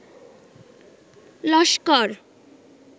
Laskar